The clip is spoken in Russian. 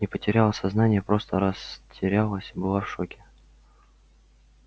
не потеряла сознание просто растерялась была в шоке